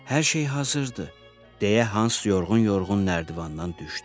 Hər şey hazırdır, deyə Hans yorğun-yorğun nərdivandan düşdü.